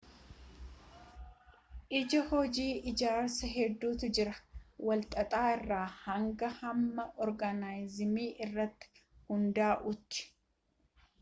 ijaa hojii ijaarsa hedduutu jira wal xaxaa irra hanga hamma organizimii irratti hundaa'uti